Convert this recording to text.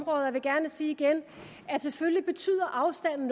og jeg vil gerne sige igen at selvfølgelig betyder afstanden